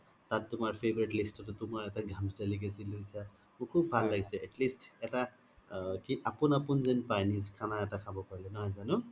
তাত তুমাৰ favourite list তে তুমাৰ এটা delicacy লইছা মোৰ শুব ভাল লাগিছে atleast এটা আপুন আপুন যেন পাই নিজ খানা এটা খাব পাৰিলে নহয় যানো?